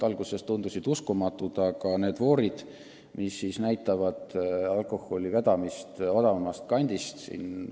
Alguses tundus see prognoos uskumatu, aga nüüd me näeme neid voore, mis on moodustunud, et alkoholi odavamast kandist hankida.